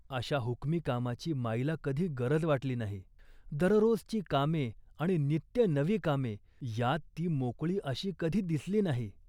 अशा हुकमी कामाची माईला कधी गरज वाटली नाही. दररोजची कामे आणि नित्य नवी कामे यात ती मोकळी अशी कधी दिसली नाही